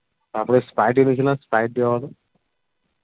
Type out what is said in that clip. তারপরে sprite এনেছিলাম sprite দেওয়া হলো